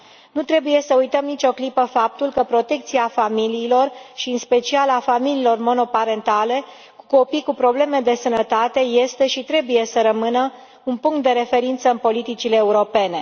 Nu trebuie să uităm nicio clipă faptul că protecția familiilor și, în special, a familiilor monoparentale cu copii cu probleme de sănătate este și trebuie să rămână un punct de referință în politicile europene.